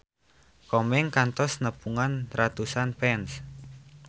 Komeng kantos nepungan ratusan fans